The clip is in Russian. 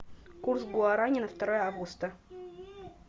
курс гуарани на второе августа